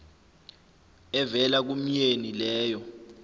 evela kumyeni leyo